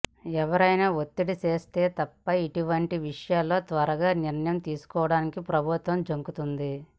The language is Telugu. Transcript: ఎవరైనా ఒత్తిడి తెస్తే తప్ప ఇటువంటి విషయాల్లో త్వరగా నిర్ణయం తీసుకోవడానికి ప్రభుత్వం జంకుతుంది